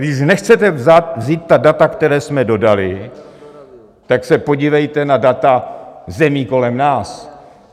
Když nechcete vzít ta data, která jsme dodali, tak se podívejte na data zemí kolem nás.